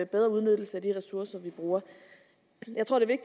bedre udnyttelse af de ressourcer vi bruger jeg tror at det